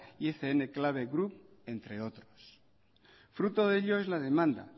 y ecn cable group entre otros fruto de ello es la demanda